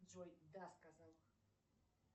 джой да сказал